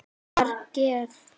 Að vera gift?